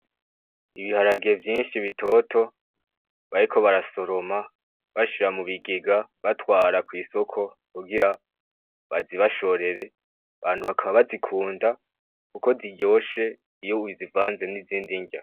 Ibiharage vyinshi bitoto bariko barasoroma bashira mu bigega batwara kw'isoko kugira bazibashorere, abantu bakaba bazikunda kuko ziryoshe iyo uzivanze n'izindi nrya.